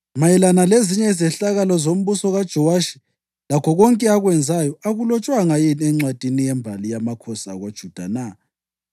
Mayelana lezinye izehlakalo zombuso kaJowashi, lakho konke akwenzayo, akulotshwanga yini encwadini yembali yamakhosi akoJuda na?